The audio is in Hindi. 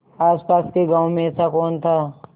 आसपास के गाँवों में ऐसा कौन था